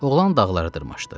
Oğlan dağlara dırmaşdı.